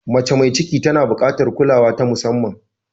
Mace mai ciki tana buƙatar kulawa ta musamman.